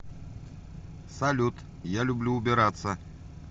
салют я люблю убираться